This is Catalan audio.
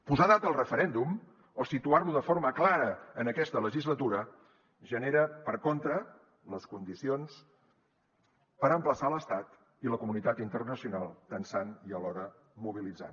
posar data al referèndum o situar lo de forma clara en aquesta legislatura genera per contra les condicions per emplaçar l’estat i la comunitat internacional tensant i alhora mobilitzant